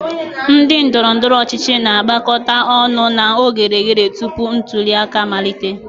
Ndị ndoro-ndoro ochichi na-agbakọta ọnụ na oghere oghere tupu ntuli aka amalite.